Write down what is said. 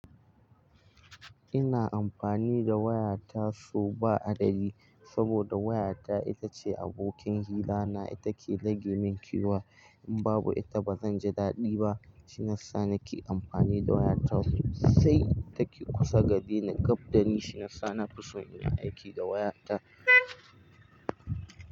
Ina amfani da waya tasu ba adadi saboda wayata itace abokin hila na, ita ke rage min kewa. In babu ita ba zan ji daɗi ba. Shin nasan nake amfani da waya tasu sai take kusa da ni gab da ni. Shin nasan na fi so ina aiki da wayarta.